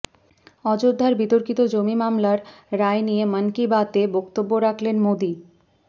অযোধ্যার বিতর্কিত জমি মামলার রায় নিয়ে মন কি বাতে বক্তব্য রাখলেন মোদী